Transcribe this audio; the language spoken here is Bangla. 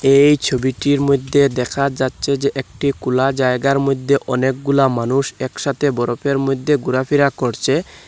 এই ছবিটির মইদ্যে দেখা যাচ্চে যে একটি কোলা জায়গার মইদ্যে অনেকগুলা মানুষ একসাথে বরফের মইদ্যে গোরাফেরা করচে ।